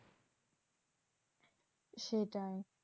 সেটাই